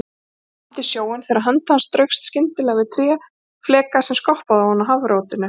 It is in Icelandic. Hann lamdi sjóinn þegar hönd hans straukst skyndilega við tréfleka sem skoppaði ofan á hafrótinu.